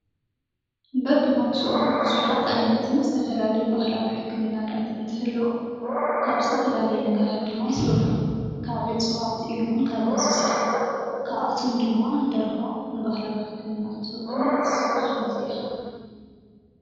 በብቦትኡ ብዙሓት ዓይነትን ዝተፈላለዩ ባህላዊ ሕክምናታት እንተህልው ካብ ዝተፈላለየ ነገራት ድማ ይስርሑ ካብ ዕፅዋት ኢሉ'ውን ካብ እንስሳት ካብኣቶም ድማ ደርሆ ንባህላዊ ሕክም እትውዕል እንስሳ ሓንቲ እያ።